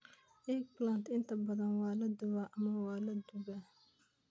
Eggplant inta badan waa la dubay ama la dubay.